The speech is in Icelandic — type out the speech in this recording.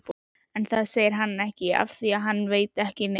En það segir hann ekki afþvíað hann veit ekki neitt.